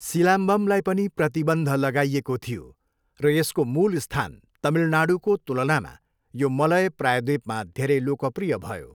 सिलाम्बमलाई पनि प्रतिबन्ध लगाइएको थियो र यसको मूल स्थान तमिलनाडूको तुलनामा यो मलय प्रायद्वीपमा धेरै लोकप्रिय भयो।